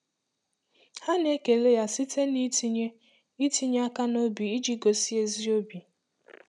Ha na-ekele ya site n’itinye n’itinye aka n’obi iji gosi ezi obi.